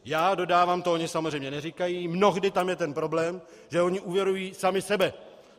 Já dodávám, to oni samozřejmě neříkají, mnohdy tam je ten problém, že oni úvěrují sami sebe.